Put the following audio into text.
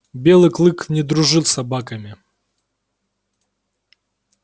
белый клык не дружил с собаками